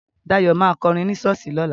Dayọ̀ ma kọrin ní ṣọ́ọ̀ṣì lọ́la